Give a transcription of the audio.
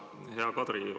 Hea Kadri!